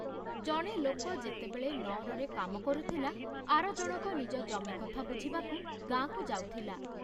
ଜଣେ ଲୋକ ଯେତେବେଳେ ନଅରରେ କାମ କରୁଥିଲା, ଆର ଜଣକ ନିଜ ଜମି କଥା ବୁଝିବାକୁ ଗାଁକୁ ଯାଉଥିଲା।